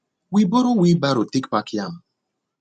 we borrow wheelbarrow take pack yam